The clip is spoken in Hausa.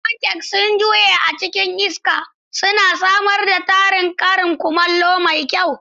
Pancakes sun juye a cikin iska, suna samar da tarin karin kumallo mai kyau.